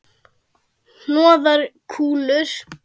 Hnoðar kúlur.